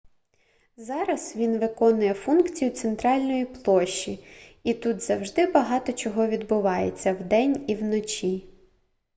зараз він виконує функцію центральної площі і тут завжди багато чого відбувається вдень і вночі